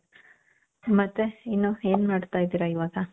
ಮತ್ತೆ ಏನು ಏನ್ ಮಾಡ್ತಾ ಇದ್ದೀರ ಇವಾಗ